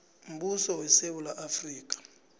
mbuso wesewula afrika